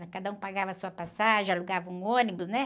Cada um pagava a sua passagem, alugava um ônibus, né?